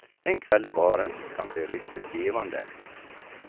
En kväll i baren kan bli riktigt givande.